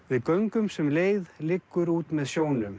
við göngum sem leið liggur út með sjónum